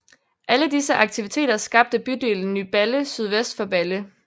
Alle disse aktiviteter skabte bydelen Ny Balle sydvest for Balle